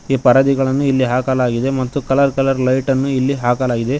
ಈ ಪರದೆಗಳನ್ನು ಇಲ್ಲಿ ಹಾಕಲಾಗಿದೆ ಮತ್ತು ಕಲರ್ ಕಲರ್ ಲೈಟನ್ನು ಇಲ್ಲಿ ಹಾಕಲಾಗಿದೆ.